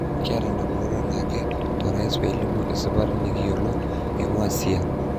'Kiata ndamunot anake ,torais pelimu esipata nikiyolo eingua CiA.''